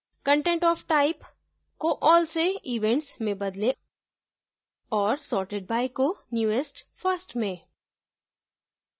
content of type को all से events में बदलें और sorted by को newest first में